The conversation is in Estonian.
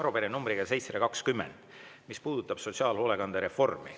Arupärimine numbriga 720, mis puudutab sotsiaalhoolekande reformi.